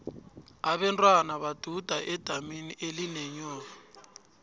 abentwana baduda edamini elinenyoka